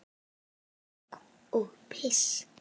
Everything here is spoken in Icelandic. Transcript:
Kúk og piss.